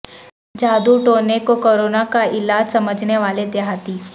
جادو ٹونے کو کورونا کا علاج سمجھنے والے دیہاتی